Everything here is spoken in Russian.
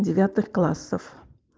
девятых классов